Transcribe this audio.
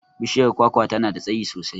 Bishiyar kwakwa tana da tsayi sosai.